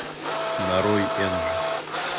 нарой энджи